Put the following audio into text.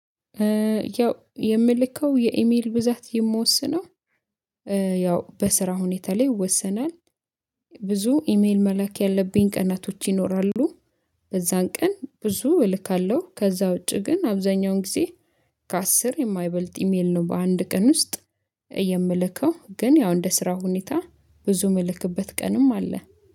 ያው የምልከው የኢሜል ብዛት የምወስነው። ያው በስራ ሁኔታ ላይ ይወሰናል። ብዙ ኢሜል መላክ ያለብኝ ቀናቶች ይኖራሉ። በዛን ቀን ብዙ እልካለሁ ከዛ ውጪ ግን አብዛኛውን ጊዜ። ከአስር የማይበልጥ ኢሜል ነው በአንድ ቀን ውስጥ። የምልከው ግን ያው እንደ ስራው ሁኔታ ብዙ የምልክበት ቀንም አለ